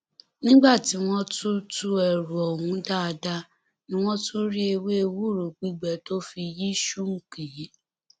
nígbà tí wọn tún tú ẹrù ọhún dáadáa ni wọn tún rí ewé ewúro gbígbẹ tó fi yí skunk yìí